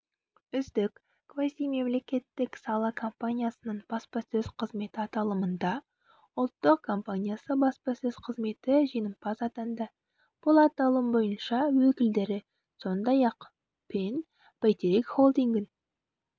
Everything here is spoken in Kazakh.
үздік квазимемлекеттік сала компаниясының баспасөз қызметі аталымында ұлттық компаниясы баспасөз қызметі жеңімпаз атанды бұл аталым бойынша өкілдері сондай-ақ пен бәйтерек холдингін